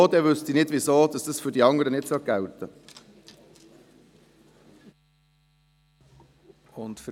Deshalb wüsste ich nicht, weshalb dies für die anderen nicht gelten sollte.